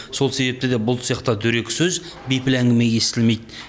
сол себепті де бұл цехта дөрекі сөз бейпіл әңгіме естілмейді